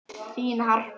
Þín Harpa.